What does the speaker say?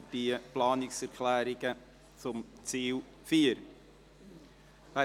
Wer die Planungserklärung 4 annehmen will, stimmt Ja, wer sie ablehnt, stimmt Nein.